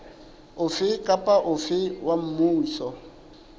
ofe kapa ofe wa mmuso